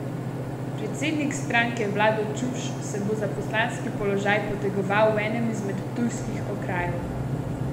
Predsednik stranke Vlado Čuš se bo za poslanski položaj potegoval v enem izmed ptujskih okrajev.